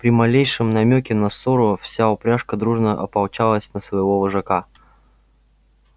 при малейшем намёке на ссору вся упряжка дружно ополчалась на своего вожака